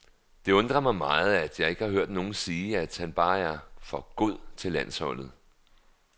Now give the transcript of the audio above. Det undrer mig meget, at jeg ikke har hørt nogen sige, at han bare er for god til landsholdet.